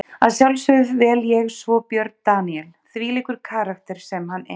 Að sjálfsögðu vel ég svo Björn Daníel, þvílíkur karakter sem hann er.